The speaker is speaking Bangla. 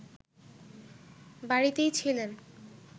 বাড়িতেই ছিলেন